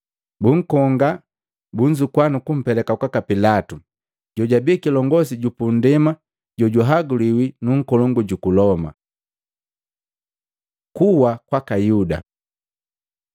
Bunkonga, bunzukua nukumpeleka kwaka Pilatu, jojabi kilongosi ju pundema jojahaguliwi nu nkolongu juku Loma. Kuwa kwaka Yuda Mahengu 1:18-19